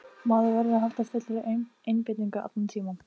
Maður verður að halda fullri einbeitingu allan tímann.